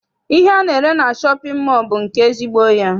Ihe ana-ere na shọpịn mọọ bụ nke ezigbo ya.